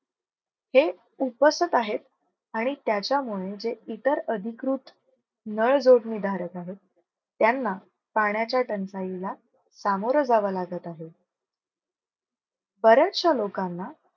हे उपसक आहेत. आणि त्याच्या मुळे जे इतर अधिकृत नळ जोडणी धारक आहेत. त्यांना पाण्याच्या टंचाईला सामोर जावं लागत आहे. बर्याचश्या लोकांना